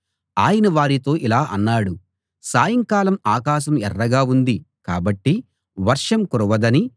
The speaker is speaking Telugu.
ఆయన వారితో ఇలా అన్నాడు సాయంకాలం ఆకాశం ఎర్రగా ఉంది కాబట్టి వర్షం కురవదనీ